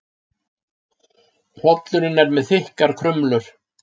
Hrollurinn er með þykkar krumlur.